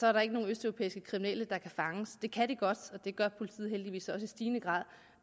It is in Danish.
er der ikke nogen østeuropæiske kriminelle der kan fanges det kan de godt og det gør politiet heldigvis også i stigende grad